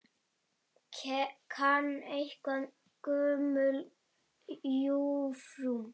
Kann einhver Gömlu jómfrú?